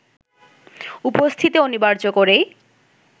উপস্থিতি অনিবার্য করেই